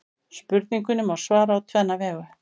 Spurningunni má svara á tvenna vegu.